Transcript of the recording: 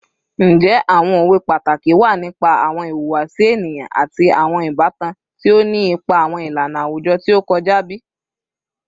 Njẹ awọn owe pataki wa nipa awọn ihuwasi eniyan ati awọn ibatan ti o ni ipa awọn ilana awujọ ti o kọja bi?